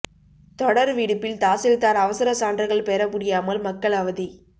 தொடர் விடுப்பில் தாசில்தார் அவசர சான்றுகள் பெற முடியாமல் மக்கள் அவதி